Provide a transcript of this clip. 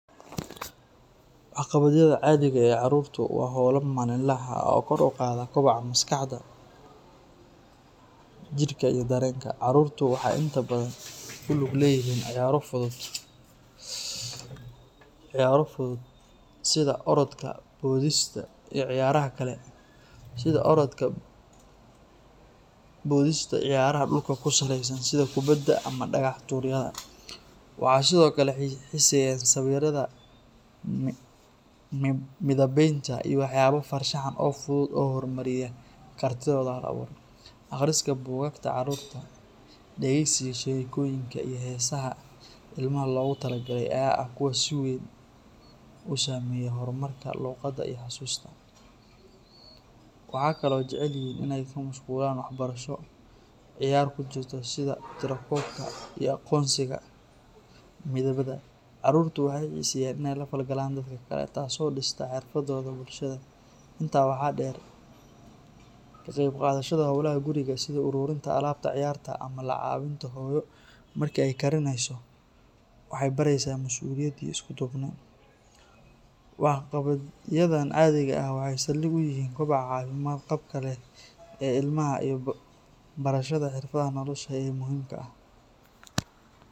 Waxqabadyaha caadiga ah ee carruurtu waa hawlo maalinle ah oo kor u qaada koboca maskaxda, jidhka iyo dareenka. Carruurtu waxay inta badan ku lug leeyihiin ciyaaro fudud sida orodka, boodista, iyo ciyaaraha dhulka ku saleysan sida kubadda ama dhagax-tuuryada. Waxay sidoo kale xiiseeyaan sawiridda, midabaynta, iyo waxyaabo farshaxan oo fudud oo horumariya kartidooda hal-abuur. Akhriska buugaagta carruurta, dhegeysiga sheekooyinka, iyo heesaha ilmaha loogu tala galay ayaa ah kuwo si weyn u saameeya horumarka luqadda iyo xasuusta. Waxay kaloo jecel yihiin in ay ku mashquulaan waxbarasho ciyaar ku jirto sida tiro-koobka iyo aqoonsiga midabada. Carruurtu waxay xiiseeyaan in ay la falgalaan dadka kale, taas oo dhistaa xirfadooda bulshada. Intaa waxaa dheer, ka qayb qaadashada hawlaha guriga sida ururinta alaabta ciyaarta ama la caawinta hooyada marka ay karinayso waxay baraysaa masuuliyad iyo isku duubni. Waxqabadyadan caadiga ah waxay saldhig u yihiin kobaca caafimaad qabka leh ee ilmaha iyo barashada xirfadaha nolosha ee muhiimka ah.